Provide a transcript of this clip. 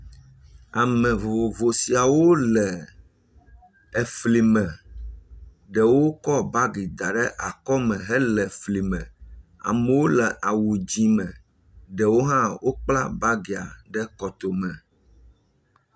Ame vovovo siawo le efli me ɖewo kɔ bagi da ɖe akɔme hele eflime, amewo le awu dszɛ̃ me, ɖewo hã wokpla bagia ɖe kɔtome.